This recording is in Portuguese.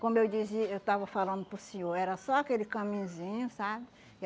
Como eu dizi eu estava falando para o senhor, era só aquele caminhozinho, sabe?